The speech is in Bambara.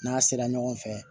N'a sera ɲɔgɔn fɛ